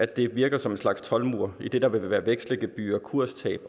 det virker som en slags toldmur idet der vil være vekselgebyrer kurstab